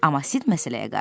Amma Sid məsələyə qarışdı.